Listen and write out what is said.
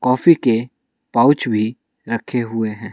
Coffee के pouch भी रखे हुए हैं ।